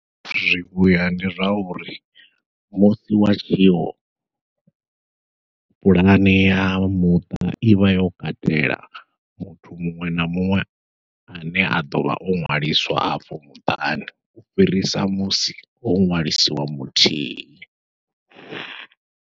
Zwivhuya ndi zwauri musi wa tshiwo puḽane ya muṱa ivha yo katela muthu muṅwe na muṅwe ane a ḓovha o ṅwaliswa afho muṱani u fhirisa musi ho ṅwaliswa muthihi.